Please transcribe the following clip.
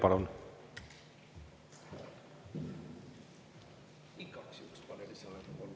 Palun!